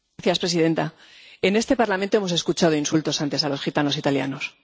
Señora presidenta, en este Parlamento hemos escuchado insultos antes a los gitanos italianos.